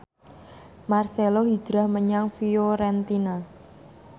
marcelo hijrah menyang Fiorentina